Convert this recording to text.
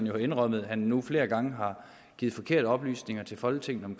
jo indrømmet at han nu flere gange har givet forkerte oplysninger til folketinget om